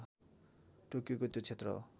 टोकियोको त्यो क्षेत्र हो